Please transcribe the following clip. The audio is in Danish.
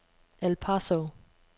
El Paso